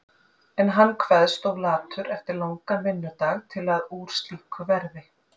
En hann kveðst of latur eftir langan vinnudag til að úr slíku verði.